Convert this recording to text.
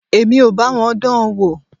Èmi ò bá wọn dán an wò.